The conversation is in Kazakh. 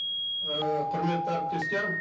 ііі құрметті әріптестер